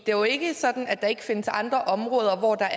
det er jo ikke sådan at der ikke findes andre områder hvor der